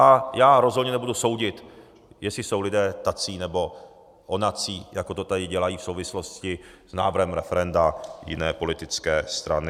A já rozhodně nebudu soudit, jestli jsou lidé tací nebo onací, jako to tady dělají v souvislosti s návrhem referenda jiné politické strany.